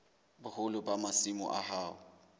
boholo ba masimo a hao